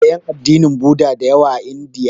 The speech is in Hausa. Akwai ƴan addinin Buda da yawa a Indiya.